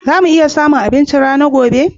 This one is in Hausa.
Za mu iya samun abinchin rana gobe?